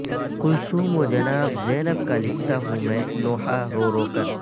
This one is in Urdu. کلثوم و جناب زینب کا لکھتا ہوں میں نوحہ رو رو کر